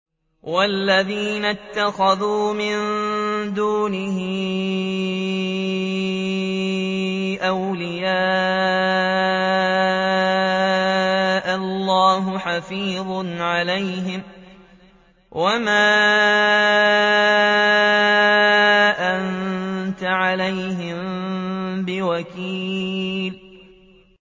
وَالَّذِينَ اتَّخَذُوا مِن دُونِهِ أَوْلِيَاءَ اللَّهُ حَفِيظٌ عَلَيْهِمْ وَمَا أَنتَ عَلَيْهِم بِوَكِيلٍ